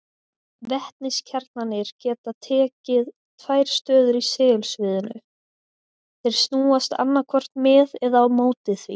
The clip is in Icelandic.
Vetniskjarnarnir geta tekið tvær stöður í segulsviðinu, þeir snúast annaðhvort með eða á móti því.